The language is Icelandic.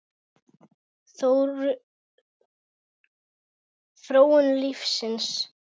Þróun lífsins